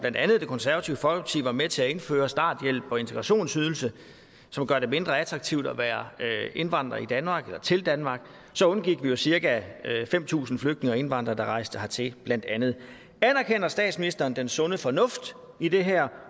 det konservative folkeparti var med til at indføre altså starthjælp og integrationsydelse som gør det mindre attraktivt at være indvandrer til danmark så undgik vi med cirka fem tusind flygtninge og indvandrere der rejste hertil anerkender statsministeren den sunde fornuft i det her